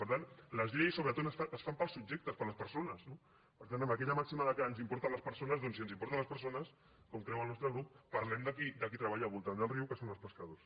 per tant les lleis sobretot es fan per als subjectes per a les persones no per tant amb aquella màxima que ens importen les persones doncs si ens importen les persones com creu el nostre grup parlem de qui treballa al voltant del riu que són els pescadors